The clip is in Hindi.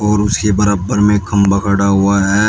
और उसके बराबर में एक खंभा खड़ा हुआ है।